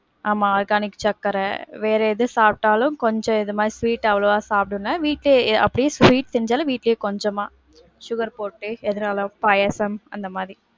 ஆமா organic சக்கர, வேற எது சாப்டாலும் கொஞ்சம் இது மாதிரி sweet அவ்வளவா சாப்டல, வீட்லயே அப்டியே sweet செஞ்சாலும், வீட்லயே கொஞ்சமா sugar போட்டு எதுனாலும் பாயசம் அந்த மாதிரி.